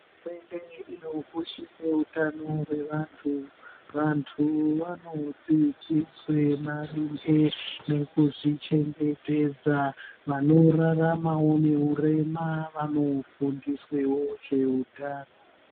Hurumende inokoshese utano hwevantu vantu. Vanodzidziswe maringe nekuzvichengetedza vanoraramavo nehurema vanofundisevo zvehutano.